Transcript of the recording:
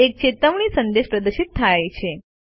એક ચેતવણી સંદેશ પ્રદર્શિત થાય છે